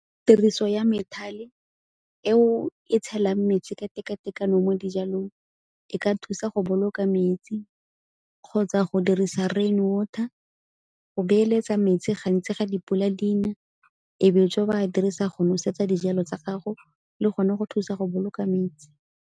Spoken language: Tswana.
Tiriso ya methale eo e tshelang metsi ka teka-tekano mo dijalong e ka thusa go boloka metsi kgotsa go dirisa rain water, go beeletsa metsi gantsi ga dipula di na, e be jo ba dirisa go nosetsa dijalo tsa gago le gone go thusa go boloka metsi.